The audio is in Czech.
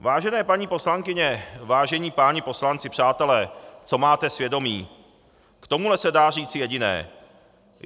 Vážené paní poslankyně, vážení páni poslanci, přátelé, co máte svědomí, k tomuhle se dá říci jediné.